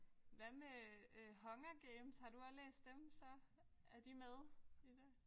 Hvad med øh Hunger Games har du også læst dem så? Er de med i det?